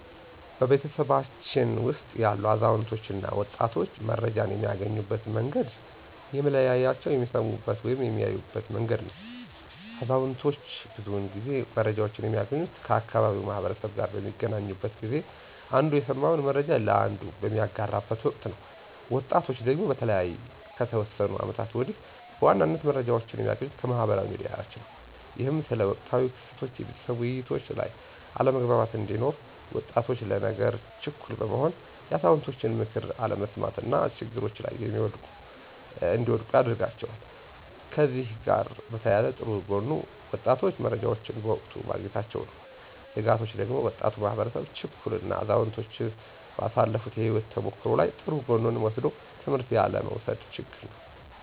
በቤተሰባችን ውስጥ ያሉ አዛውንቶች እና ወጣቶች መረጃን የሚያገኙበት መንገድ የሚለያየው በሚሰሙበት ወይም በሚያዩበት መንገድ ነው። አዛውንቶች ብዙውን ጊዜ መረጃወችን የሚያገኙት ከአካባቢው ማህበረሰብ ጋር በሚገናኙበት ጊዜ አንዱ የሰማውን መረጃ ለአንዱ በሚያጋራበት ወቅት ነው። ወጣቶቹ ደግሞ በተለይ ከተወሰኑ አመታቶች ወዲህ በዋናነት መረጃዎችን የሚያገኙት ከማህበራዊ ሚዲያዎች ነው። ይህም ስለ ወቅታዊ ክስተቶች የቤተሰብ ውይይቶች ላይ አለመግባባት እንዲኖር፤ ወጣቶች ለነገሮች ችኩል በመሆን የአዛውንቶችን ምክር አለመስማት እና ችግሮች ላይ እንዲወድቁ አድርጓቸዋል። ከእነዚህ ጋር በተያያዘ ጥሩ ጎኑ ወጣቶቹ መረጃዎችን በወቅቱ ማግኘታቸው ነው። ስጋቶቹ ደግሞ ወጣቱ ማህበረሰብ ችኩል እና አዛውንቶች ባሳለፋት የህይወት ተሞክሮ ላይ ጥሩ ጎኑን ወስዶ ትምህርት ያለ መውሰድ ነው።